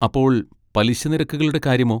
അപ്പോൾ പലിശ നിരക്കുകളുടെ കാര്യമോ?